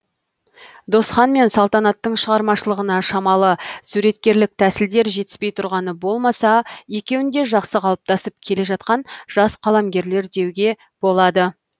досхан мен салтанаттың шығармашылығына шамалы суреткерлік тәсілдер жетіспей тұрғаны болмаса екеуін де жақсы қалыптасып келе жатқан жас қаламгерлер деуге болады